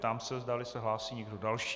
Ptám se, zdali se hlásí někdo další.